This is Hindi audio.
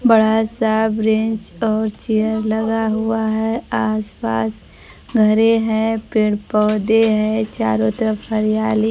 बड़ा सा बैंच और चेयर लगा हुआ हैं आस पास घरे है पेड़ पौधे हैं चारों तरफ हरियाली--